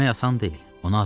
Ölmək asan deyil.